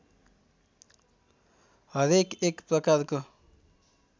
हरेक एक प्रकारको